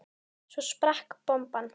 Svo sprakk bomban.